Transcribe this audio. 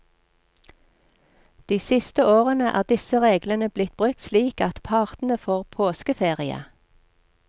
De siste årene er disse reglene blitt brukt slik at partene får påskeferie.